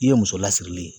I ye muso lasiri ye